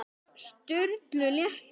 Sturlu létti.